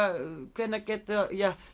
hvenær geta